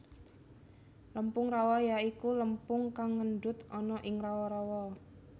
Lempung rawa ya iku lempung kang ngendut ana ing rawa rawa